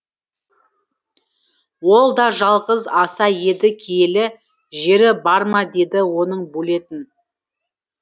ол да жалғыз аса еді киелі жері бар ма дейді оның бөлетін